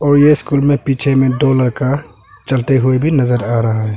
और ये स्कूल में पीछे में दो लड़का चलते हुए भी नजर आ रहा है।